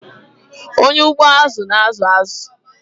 Onye ugbo azu na-azụ azụ.